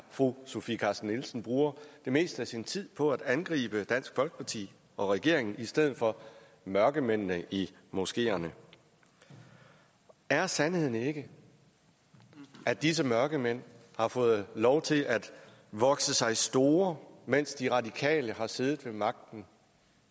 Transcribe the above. fru sofie carsten nielsen bruger det meste af sin tid på at angribe dansk folkeparti og regeringen i stedet for mørkemændene i moskeerne er sandheden ikke at disse mørkemænd har fået lov til at vokse sig store mens de radikale har siddet ved magten